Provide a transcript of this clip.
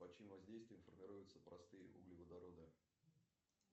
под чьим воздействием формируются простые углеводороды